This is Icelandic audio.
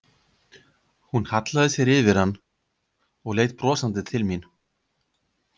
Hún hallaði sér yfir hann og leit brosandi til mín.